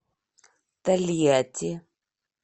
тольятти